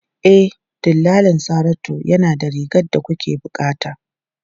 E, dillalin Saratu yana da rigar da kuke bukata.